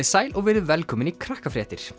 sæl og verið velkomin í